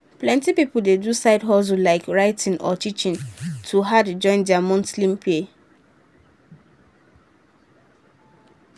plenty people dey do side hustle like writing or teaching to add join their monthly pay.